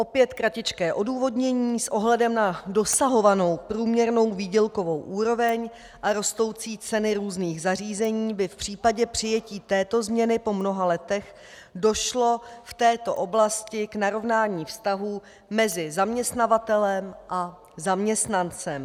Opět kratičké odůvodnění: S ohledem na dosahovanou průměrnou výdělkovou úroveň a rostoucí ceny různých zařízení by v případě přijetí této změny po mnoha letech došlo v této oblasti k narovnání vztahů mezi zaměstnavatelem a zaměstnancem.